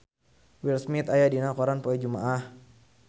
Will Smith aya dina koran poe Jumaah